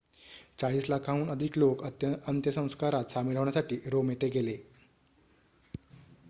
चाळीस लाखांहून अधिक लोक अंत्यसंस्कारात सामील होण्यासाठी रोम येथे गेले